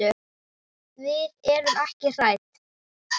Við erum ekki hrædd.